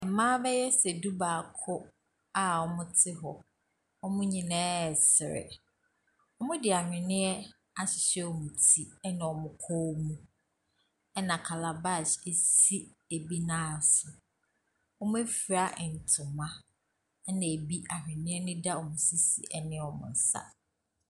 Mmaa bɛyɛ sɛ du-baako a wɔte hɔ. wɔn nyinaa resere. Wɔde ahwenneɛ ahyehyɛ wɔn ti ne wɔn kɔn mu, ɛna calabash si ebinan so. Wɔafura ntoma ɛna ebi ahwenneɛ deda wɔn sisi ne wɔn nsa.